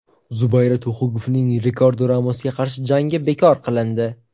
Zubayra Tuxugovning Rikardo Ramosga qarshi jangi bekor qilindi.